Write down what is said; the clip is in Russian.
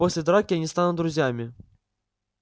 после драки они станут друзьями